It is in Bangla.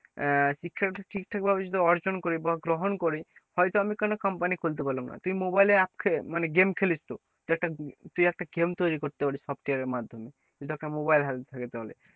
আহ শিক্ষাটা ঠিকঠাক ভাবে যদি অর্জন করি বা গ্রহণ করি হয়তো আমি কোন company খুলতে পারলাম না তুই mobile এ মানে game খেলিস তো তুই একটা তুই একটা game তৈরী করতে পারিস software এর মাধ্যমে যদি একটা mobile হাতে থাকে তাহলে,